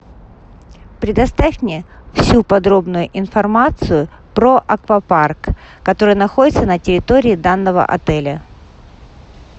предоставь мне всю подробную информацию про аквапарк который находится на территории данного отеля